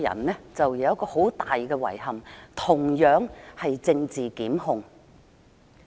我有一個很大的遺憾，同樣與政治檢控有關。